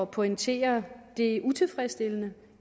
pointere det utilfredsstillende